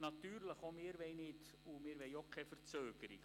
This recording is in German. Natürlich wollen auch wir keine Verzögerung.